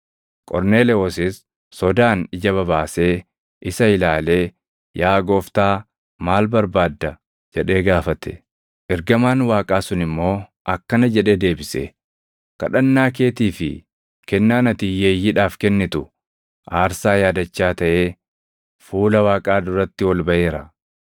Qorneelewoosis sodaan ija babaasee isa ilaalee, “Yaa Gooftaa, maal barbaadda?” jedhee gaafate. Ergamaan Waaqaa sun immoo akkana jedhee deebise; “Kadhannaa keetii fi kennaan ati hiyyeeyyiidhaaf kennitu aarsaa yaadachaa taʼee fuula Waaqaa duratti ol baʼeera.